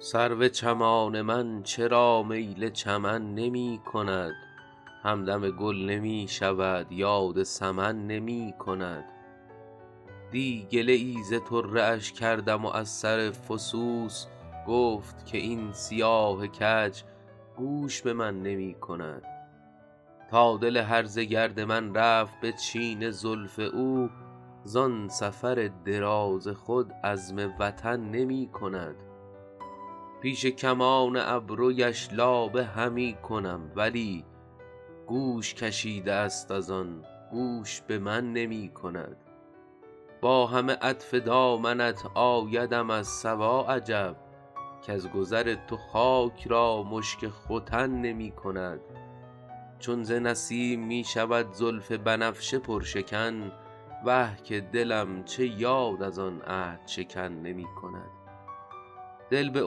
سرو چمان من چرا میل چمن نمی کند همدم گل نمی شود یاد سمن نمی کند دی گله ای ز طره اش کردم و از سر فسوس گفت که این سیاه کج گوش به من نمی کند تا دل هرزه گرد من رفت به چین زلف او زان سفر دراز خود عزم وطن نمی کند پیش کمان ابرویش لابه همی کنم ولی گوش کشیده است از آن گوش به من نمی کند با همه عطف دامنت آیدم از صبا عجب کز گذر تو خاک را مشک ختن نمی کند چون ز نسیم می شود زلف بنفشه پرشکن وه که دلم چه یاد از آن عهدشکن نمی کند دل به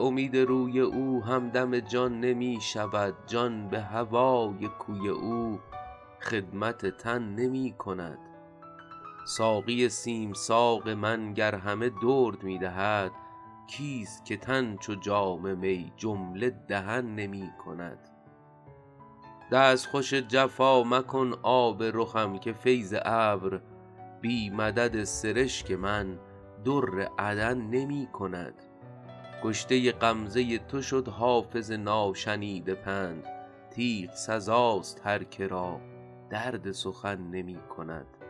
امید روی او همدم جان نمی شود جان به هوای کوی او خدمت تن نمی کند ساقی سیم ساق من گر همه درد می دهد کیست که تن چو جام می جمله دهن نمی کند دستخوش جفا مکن آب رخم که فیض ابر بی مدد سرشک من در عدن نمی کند کشته غمزه تو شد حافظ ناشنیده پند تیغ سزاست هر که را درد سخن نمی کند